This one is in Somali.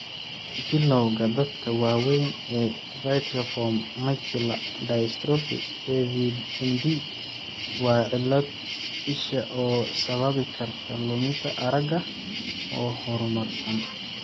Bilawga dadka waaweyn ee Vitelliform macular dystrophy (AVMD) waa cillad isha oo sababi karta luminta aragga oo horumarsan.